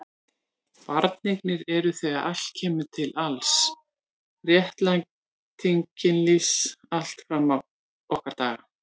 Barneignir eru þegar allt kemur til alls réttlæting kynlífs allt fram á okkar daga.